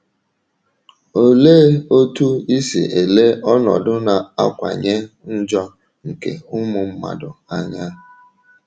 Olee otú i si ele ọnọdụ na - akawanye njọ nke ụmụ mmadụ anya?